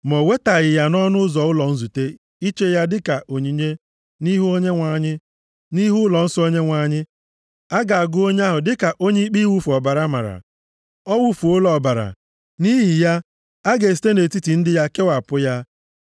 ma o wetaghị ya nʼọnụ ụzọ ụlọ nzute iche ya dịka onyinye nʼihu Onyenwe anyị, nʼihu ụlọnsọ Onyenwe anyị, a ga-agụ onye ahụ dịka onye ikpe iwufu ọbara mara. Ọ wụfuola ọbara, nʼihi ya, a ga-esite nʼetiti ndị ya kewapụ ya.